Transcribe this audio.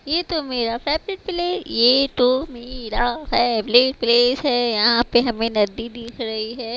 ये तो मेरा फेवरेट प्ले ये तो मेरा फेवरेट प्लेस है यहां पे हमें नदी दिख रही है।